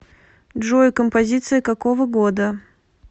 джой композиция какого года